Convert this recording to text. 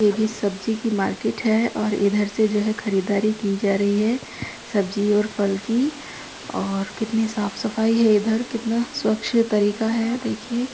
ये भी सब्जी की मार्केट है और इधर से जो है खरीदारी की जा रही है। सब्जी और फल की और कितनी साफ सफाई है इधर कितना स्वच्छ तरीका है देखिये।